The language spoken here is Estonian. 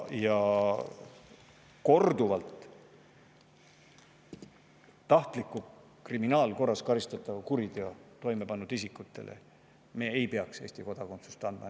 Isikutele, keda on kriminaalkorras korduvalt karistatud tahtliku kuriteo toimepanemise eest, ei peaks me Eesti kodakondsust andma.